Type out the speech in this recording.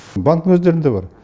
банктің өздерінде бар